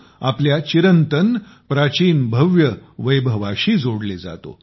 आपल्या चिरंतन प्राचीन भव्य वैभवाशी जोडले जातो